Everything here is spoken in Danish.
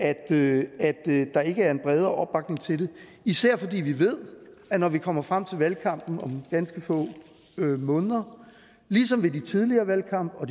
der ikke er en bredere opbakning til det især fordi vi ved at det når vi kommer frem til valgkampen om ganske få måneder ligesom ved den tidligere valgkamp og